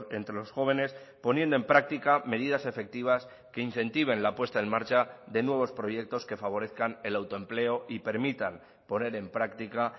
entre los jóvenes poniendo en práctica medidas efectivas que incentiven la puesta en marcha de nuevos proyectos que favorezcan el autoempleo y permitan poner en práctica